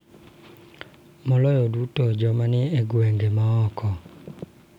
Maloyo duto, joma ni e gwenge ma oko�